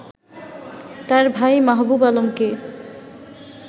তার ভাই মাহবুব আলমকে